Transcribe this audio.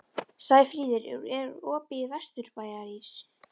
Sæfríður, er opið í Vesturbæjarís?